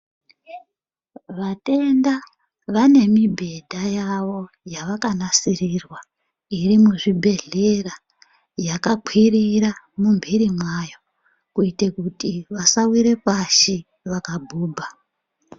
Vatenda vane mibhedha yavo yavakanasirirwa iri muzvibhedhera yakakwirira mumbiri mwayo kuitira kuti vasawire pashi vakabhubha.